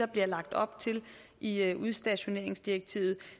bliver lagt op til i i udstationeringsdirektivet